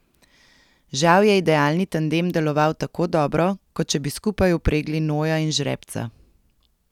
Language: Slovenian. Žal je idealni tandem deloval tako dobro, kot če bi skupaj vpregli noja in žrebca.